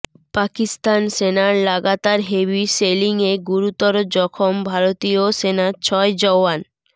পাকিস্তান সেনার লাগাতার হেভি শেলিংয়ে গুরুতর জখম ভারতীয় সেনার ছয় জওয়ান